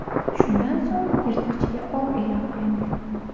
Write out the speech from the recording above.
Shundan so‘ng yirtqichga ov e’lon qilingan.